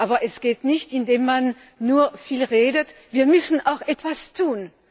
Aber das geht nicht, indem man nur viel redet, wir müssen auch etwas tun.